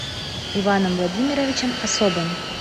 иваном владимировичем особым